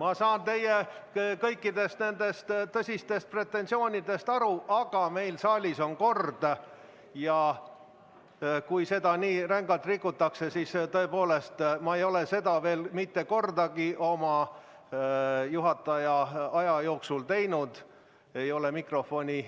Ma saan teie tõsistest pretensioonidest aru, aga meil saalis on kord ja kui seda nii rängalt rikutakse, siis tõepoolest, ma ei ole seda veel mitte kordagi oma juhatajatöö jooksul teinud, ei ole mikrofoni